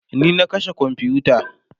ni na kashe komfuta